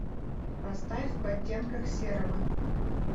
поставь в оттенках серого